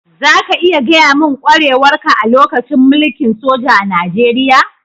Za ka iya gaya mun kwarewar ka a lokacin mulki'n soja a'Nijeriya?